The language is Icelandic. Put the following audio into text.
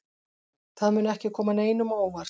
Það mun ekki koma neinum á óvart.